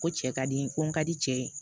Ko cɛ ka di n ko n ka di cɛ ye